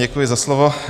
Děkuji za slovo.